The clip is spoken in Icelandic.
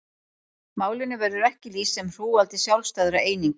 Málinu verður ekki lýst sem hrúgaldi sjálfstæðra eininga.